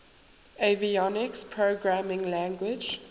avionics programming language